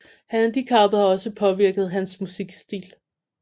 Handicappet har også påvirket hans musikstil